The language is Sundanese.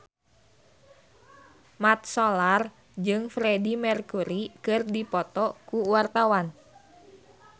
Mat Solar jeung Freedie Mercury keur dipoto ku wartawan